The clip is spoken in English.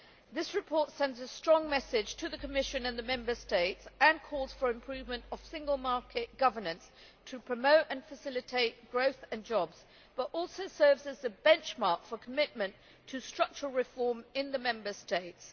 This report sends a strong message to the Commission and the Member States, and calls for improvement of single market governance to promote and facilitate growth and jobs, but also serves as the benchmark for commitment to structural reform in the Member States.